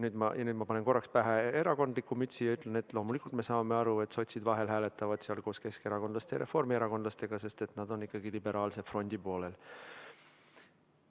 Nüüd ma panen korraks pähe erakondliku mütsi ja ütlen, et loomulikult me saame aru, et sotsid vahel hääletavad koos keskerakondlaste ja reformierakondlastega, sest nad on ikkagi liberaalse frondi poolel.